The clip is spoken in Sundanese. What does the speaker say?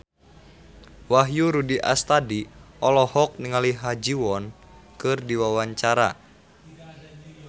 Wahyu Rudi Astadi olohok ningali Ha Ji Won keur diwawancara